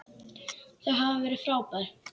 Já, þau hafa verið frábær.